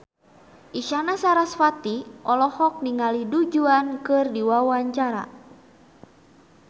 Isyana Sarasvati olohok ningali Du Juan keur diwawancara